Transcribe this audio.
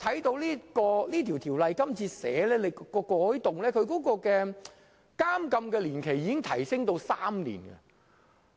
根據《條例草案》今次提出的改動，監禁年期已提高至3年。